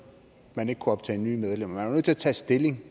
man ikke kunne optage nye medlemmer nødt til at tage stilling